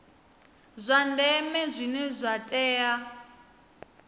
zwa ndeme zwine zwa tea